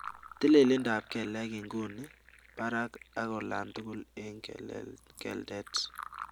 Tililindo ap kelek inguny, parak and olatugul eng keldet